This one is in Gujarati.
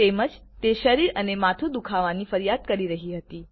તેમ જ તે શરીર અને માથું દુખાવાની ફરિયાદ કરી રહી હતી